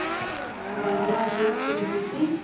ହଁ ନୂଆ dress ପିନ୍ଧନ୍ତି